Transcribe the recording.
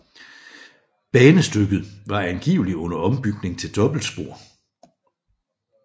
Banestykket var angiveligt under ombygning til dobbeltspor